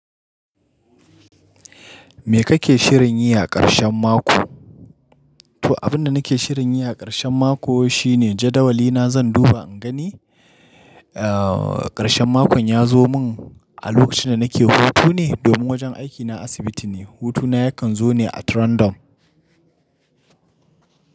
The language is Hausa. Me kake shirin yi a ƙarshen mako? To, abin da nake shirin yi a ƙarshen mako shine jadawali na zan duba in gani, eh, ƙarshen makon ya zo mun a lokacin da nake hutu ne domin wajen aikina asibiti ne. Hutuna yakan zo ne at random.